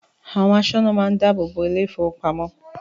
Àwọn aṣọ́nà máa ń dáàbò bo ilé-ìfowópamọ́sí.